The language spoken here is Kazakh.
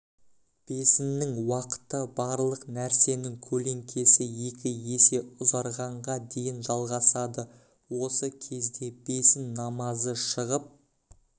бесіннің уақыты барлық нәрсенің көлеңкесі екі есе ұзарғанға дейін жалғасады осы кезде бесін намазы шығып